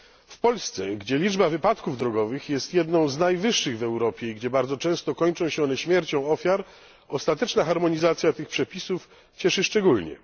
W Polsce, gdzie liczba wypadków drogowych jest jedną z najwyższych w Europie i gdzie bardzo często kończą się one śmiercią ofiar, ostateczna harmonizacja tych przepisów cieszy szczególnie.